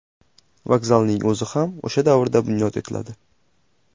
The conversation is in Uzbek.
Vokzalning o‘zi ham o‘sha davrda bunyod etiladi.